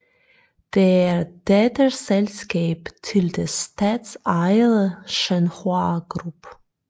Det er et datterselskab til det statsejede Shenhua Group